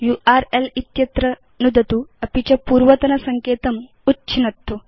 URL इत्यत्र नुदतु अपि च पूर्वतनसङ्केतम् उच्छिनत्तु